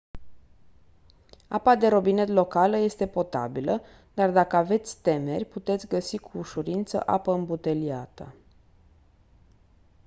apa de robinet locală este potabilă dar dacă aveți temeri puteți găsi cu ușurință apă îmbuteliată